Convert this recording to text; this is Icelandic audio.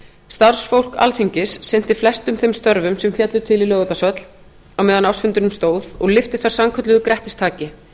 starfsfólk alþingis sinnti flestum þeim störfum sem féllu til í laugardalshöll á meðan á ársfundinum stóð og lyfti þar sannkölluðu grettistaki